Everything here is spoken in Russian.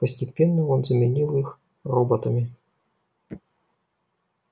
постепенно он заменил их роботами